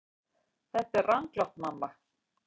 Þetta er ranglátt mamma.